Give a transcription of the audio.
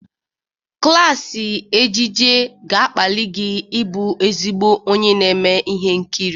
Klaasị ejije ga-akpali gị ịbụ ezigbo onye na-eme ihe nkiri.